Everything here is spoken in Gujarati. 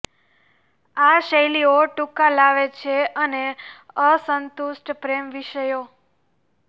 આ શૈલીઓ ટૂંકા લાવે છે અને અસંતુષ્ટ પ્રેમ વિષયો